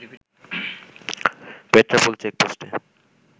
Petrapole চেকপোস্টে